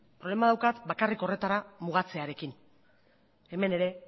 problema daukat bakarri horretara mugatzearekin hemen ere